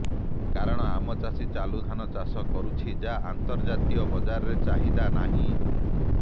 କାରଣ ଆମ ଚାଷୀ ଚାଲୁଧାନ ଚାଷ କରୁଛି ଯାହାର ଅନ୍ତର୍ଜାତୀୟ ବଜାରରେ ଚାହିଦା ନାହିଁ